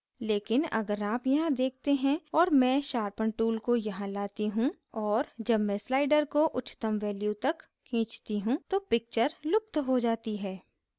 लेकिन अगर आप यहाँ देखते हैं और मैं sharpen tool को यहाँ लाती हूँ और जब मैं slider को उच्चतम value तक खींचती हूँ तो picture लुप्त हो जाती है